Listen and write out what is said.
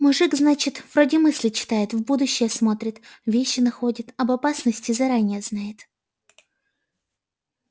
мужик значит вроде мысли читает в будущее смотрит вещи находит об опасности заранее знает